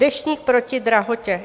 Deštník proti drahotě.